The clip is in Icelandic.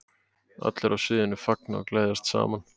Allir á sviðinu fagna og gleðjast saman.